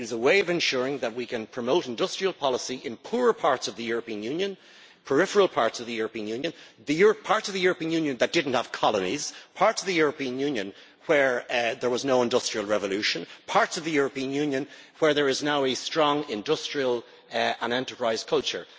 It is a way of ensuring that we can promote industrial policy in poorer parts of the European Union, peripheral parts of the European Union, parts of the European Union that did not have colonies, parts of the European Union where there was no industrial revolution, parts of the European Union where there is now a strong industrial and enterprise culture.